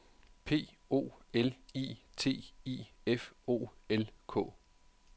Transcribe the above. P O L I T I F O L K